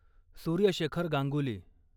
Surya Shekhar Ganguly